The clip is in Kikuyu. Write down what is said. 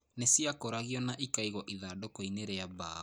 Nĩ ciakũragwo na ikaigwo ithandũkũ-inĩ rĩa mbaũ.